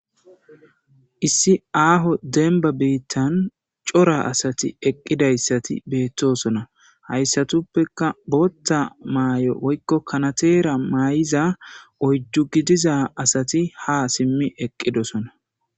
Issi aho demba bittan cora asati eqidaysati betosona haysatuppeka botha mayo woykon kanetera mayiza oydu gidiza asati ha simi eqidosona